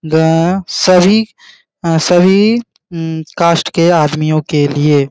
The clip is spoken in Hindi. व सभी अ सभी अ कास्ट के आदमियों के लिए --